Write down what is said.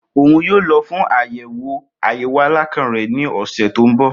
Oun yoo lọ fun ayẹwo ayẹwo alakan rẹ ni ọsẹ to nbọ.